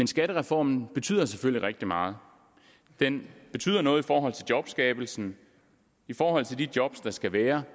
skattereformen betyder selvfølgelig rigtig meget den betyder noget i forhold til jobskabelsen i forhold til de job der skal være